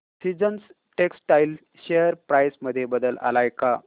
seasons textile share price मध्ये बदल आलाय का